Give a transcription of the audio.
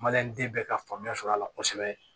den bɛɛ ka faamuya sɔrɔla kosɛbɛ